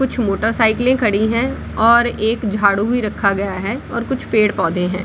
कुछ मोटरसाइकल खड़ी है और एक झाड़ू भी रखा गया है और कुछ पेड़-पौधे है ।